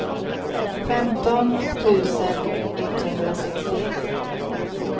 femton tusen etthundrasextioett